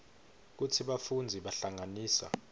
kutsi bafundzi bahlanganisa